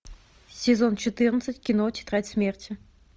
сезон четырнадцать кино тетрадь смерти